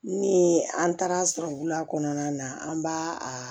Ni an taara sɔrɔ bula kɔnɔna na an b'a a